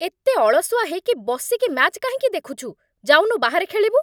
ଏତେ ଅଳସୁଆ ହେଇକି ବସିକି ମ୍ୟାଚ୍ କାହିଁକି ଦେଖୁଛୁ? ଯାଉନୁ ବାହାରେ ଖେଳିବୁ?